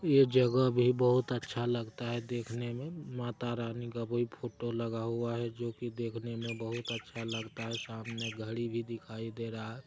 यह जगह भी बहुत अच्छा लगता है देखने में। माता रानी का कोई फोटो लगा हुआ है जो कि देखने में बहुत अच्छा लगता है। सामने घड़ी भी दिखाई दे रहा है।